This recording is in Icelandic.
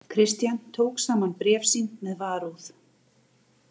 Christian tók saman bréf sín með varúð.